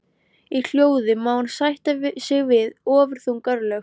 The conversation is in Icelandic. Í hljóði má hann sætta sig við ofurþung örlög.